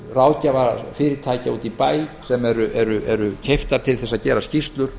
ráðgjafarfyrirtækja úti í bæ sem eru keypt til þess að gera skýrslur